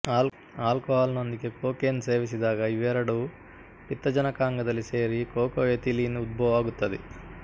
alcohol ನೊಂದಿಗೆ cocaine ಸೇವಿಸಿದಾಗ ಇವೆರಡೂ ಪಿತ್ತಜನಕಾಂಗದಲ್ಲಿ ಸೇರಿ ಕೋಕಾಎಥಿಲೀನ್ ಉದ್ಭವವಾಗುತ್ತದೆ